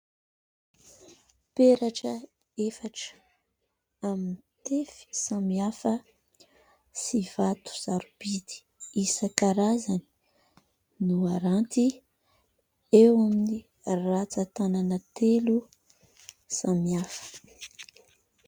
Peratra efatra amin'ny tefy samihafa sy vato sarobidy isan-karazany no haranty eo amin'ny ratsan-tanana telo samihafa.